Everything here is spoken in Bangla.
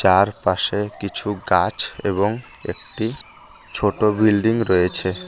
চারপাশে কিছু গাছ এবং একটি ছোট বিল্ডিং রয়েছে।